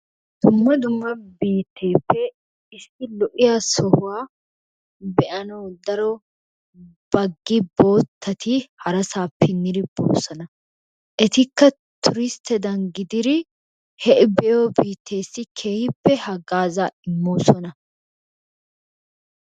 Dumma dumma biitteeppe daro issi lo''iyaa sohuwa be''anawu daro baggi boottati harassappe yiidi be'oosona. Etikka tuuristtedan gididi he be''iyo biittessi keehippe hagazzaa immoosona.